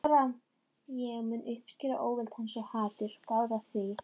Ég mun uppskera óvild hans- og hatur, gáðu að því.